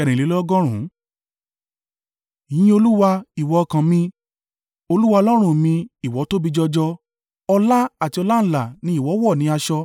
Yin Olúwa, ìwọ ọkàn mi. Olúwa Ọlọ́run mi, ìwọ tóbi jọjọ; ọlá àti ọláńlá ni ìwọ wọ̀ ní aṣọ.